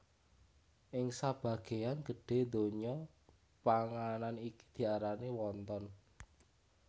Ing sabagéyan gedhé donya panganan iki diarani wonton